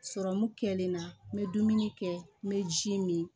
kɛlen na n bɛ dumuni kɛ n bɛ ji min